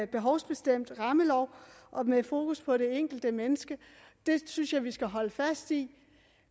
behovsbestemt rammelov med fokus på det enkelte menneske det synes jeg vi skal holde fast i